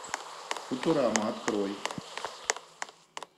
футурама открой